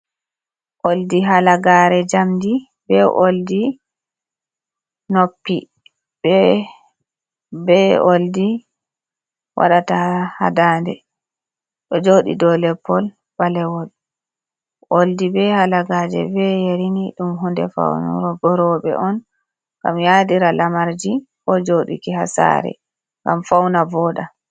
Oɗi halagare jamɗi. Be olɗi noppi. Bbe olɗi waɗata ha ɗanɗe. Ɗ joɗi ɗoW lepol balewol. Olɗi be halagaje be yarini ɗum hunɗe faunugo robe on. Gam yaɗira lamarji ko joɗiki ha sare ngam fauna voɗa.